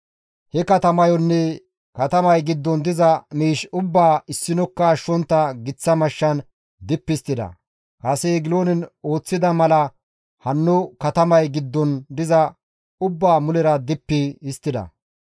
He katamayonne katamay giddon diza miish ubbaa issinokka ashshontta giththa mashshan dippi histtida; kase Egiloonen ooththida mala hanno katamay giddon diza ubbaa mulera dippi histtida.